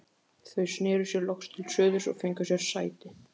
Þau sneru sér loks til suðurs og fengu sér sæti.